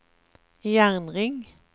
jernring